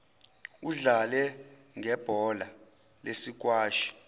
udlale ngebhola lesikwashi